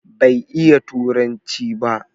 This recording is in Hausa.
Bai iya turanci ba